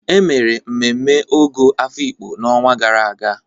E mere mmemme Ogo Afikpo n'ọnwa gara aga.